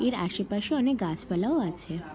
এর আশেপাশে অনেক গাছপালাও আছে।